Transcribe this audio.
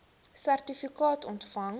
sertifikaat ontvang